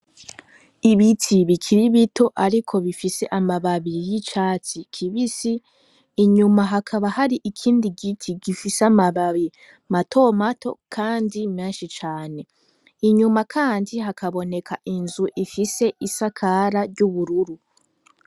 Ibiti bikiri bito, ariko bifise amababiri y'icati kibisi inyuma hakaba hari ikindi giti gifise amababi matomato, kandi menshi cane inyuma, kandi hakaboneka inzu ifise isakara ry'ubururu.